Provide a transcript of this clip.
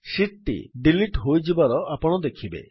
sheet ଟି delete ହୋଇଯିବାର ଆପଣ ଦେଖିବେ